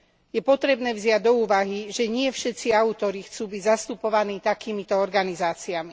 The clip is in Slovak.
Je potrebné vziať do úvahy, že nie všetci autori chcú byť zastupovaní takýmito organizáciami.